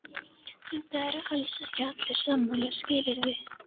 En það eru alls ekki allir sammála, skilurðu?